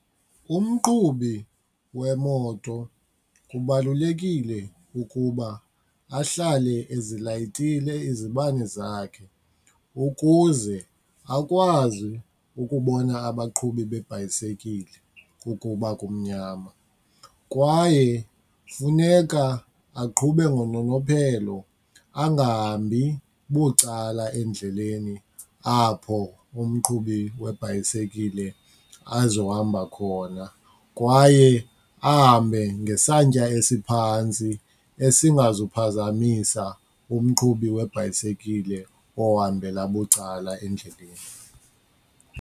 Umqhubi wemoto kubalulekile ukuba ahlale ezilayitile izibane zakhe ukuze akwazi ukubona abaqhubi beebhayisekile ukuba kumnyama. Kwaye funeka aqhube ngononophelo angahambi bucala endleleni apho umqhubi webhayisikile azohamba khona kwaye ahambe ngesantya esiphantsi esingazuphazamisa umqhubi webhayisikile ohambela bucala endleleni.